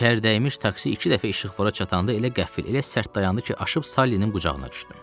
Çər dəymiş taksi iki dəfə işıqfora çatanda elə qəfil, elə sərt dayandı ki, aşıb Sallinin qucağına düşdüm.